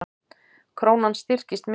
Krónan styrkist mikið